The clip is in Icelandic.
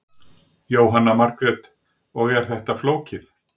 Jóhanna Margrét: Og er þetta flókið?